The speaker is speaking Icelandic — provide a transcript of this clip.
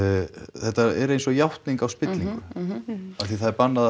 þetta er eins og játning á spillingu af því það er bannað að